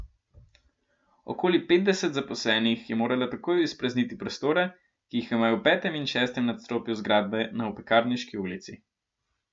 Okoli petdeset zaposlenih je moralo takoj izprazniti prostore, ki jih imajo v petem in šestem nadstropju zgradbe na Opekarniški ulici.